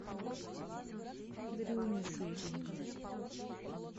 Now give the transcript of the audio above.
дрюню шилина